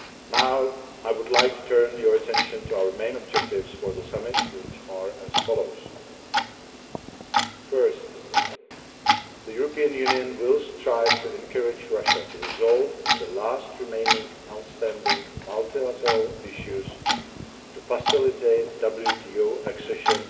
Now I would like to turn your attention to our main objectives for the summit, which are as follows First the European Union will strive to encourage Russia to resolve the last remaining outstanding multilateral issues to facilitate WTO accession